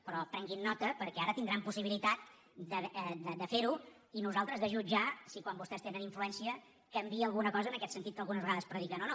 però prenguin ne nota perquè ara tindran possibilitat de fer ho i nosaltres de jutjar si quan vostès tenen influència canvia alguna cosa en aquest sentit que algunes vegades prediquen o no